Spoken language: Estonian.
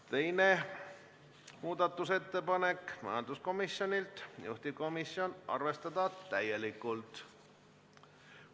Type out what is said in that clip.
Teine muudatusettepanek on samuti majanduskomisjonilt ja juhtivkomisjoni ettepanek on arvestada seda täielikult.